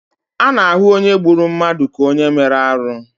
A na-ahụ onye gburu mmadụ ka onye mere arụ.